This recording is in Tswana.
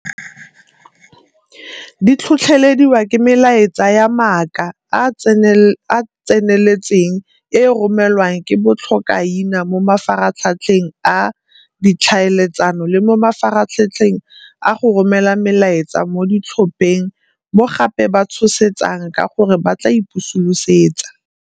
Di tlhotlhelediwa ke melaetsa ya mmaaka a a tseneletseng e e romelwang ke botlhokaina mo mafaratlhatlheng a ditlhaeletsano le mo mafaratlhatlheng a go romela melaetsa mo ditlhopheng mo gape ba tshosetsang ka gore ba tla ipusulosetsa.